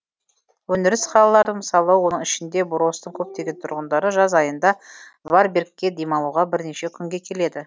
өндіріс қалаларының мысалы оның ішінде буростың көптеген тұрғындары жаз айында варбергке демалуға бірнеше күнге келеді